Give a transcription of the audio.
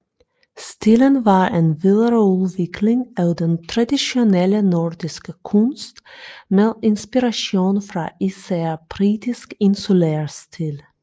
Stilen var en videreudvikling af den traditionelle nordiske kunst med inspiration fra især britisk insulærstil